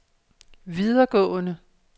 videregående